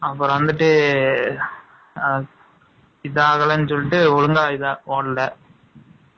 இது ஆகலைன்னு சொல்லிட்டு, ஒழுங்கா இதை, ஓடல